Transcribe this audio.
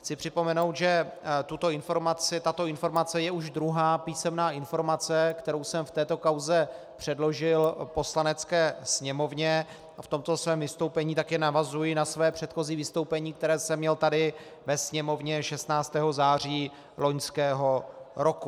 Chci připomenout, že tato informace je už druhá písemná informace, kterou jsem v této kauze předložil Poslanecké sněmovně, a v tomto svém vystoupení také navazuji na své předchozí vystoupení, které jsem měl tady ve Sněmovně 16. září loňského roku.